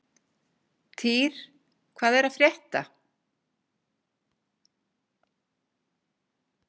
Týr, hvað er að frétta?